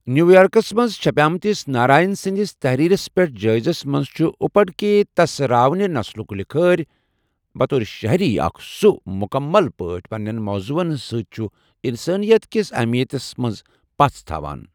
نِیوُ یارکس منز چھپیمتِس ناراین سندِس تحریرس پیٹھ جٲیزس منز ، چھُ اُپڈکے تس راووٕنہِ نسلُک لِکھٲرۍ، بطور شہری، اکھ یُس مُکمل پٲٹھۍ پننین موضوعن سۭتۍ چھُ تہٕ اِنسٲنِیت کِس اہمِیتس منز پژھ تھاوان چھُ ۔